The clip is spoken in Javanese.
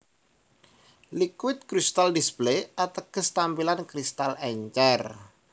Liquit Crystal Display ateges tampilan kristal encer